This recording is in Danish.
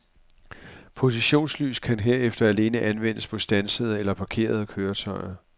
Positionslys kan herefter alene anvendes på standsede eller parkerede køretøjer.